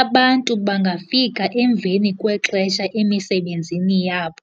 Abantu bangafika emveni kwexesha emisebenzini yabo